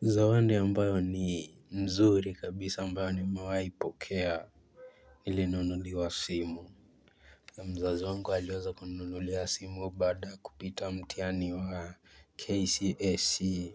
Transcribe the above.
Zawadi ambayo ni nzuri kabisa ambayo nimewahi pokea nilinunuliwa simu mzazi wangu aliweza kuninunulia simu bada kupita mtiani wa KCSE